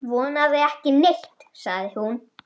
Vonandi ekki neitt, sagði hún.